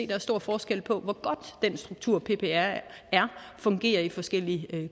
der er stor forskel på hvor godt den struktur ppr har fungerer i forskellige